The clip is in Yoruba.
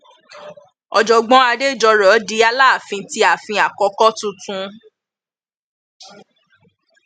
ọjọgbọn adéjọrò di aláfin ti àfin àkókò tuntun